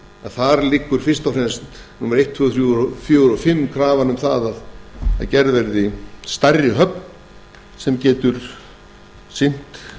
þar liggur fyrst og fremst krafa um að gerð verði stærri höfn sem geti sinnt